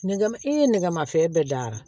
Nɛgɛ ma e ye nɛgɛmafɛn bɛɛ da wa